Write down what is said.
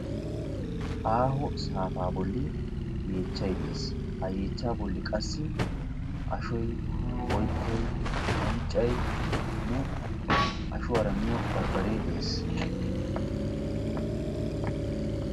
aaho saapaa boolli yeechchay de'ees. Ha yeechchaa boolli qassi aashshoy oyttay unccaynne qassi ashshuwaara miyoo barbaree de'ees.